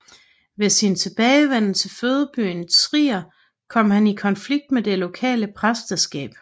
Ved sin tilbagevenden til fødebyen Trier kom han i konflikt med det lokale præsteskab